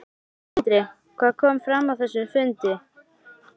Sindri: Hvað kom fram á þessum fundi?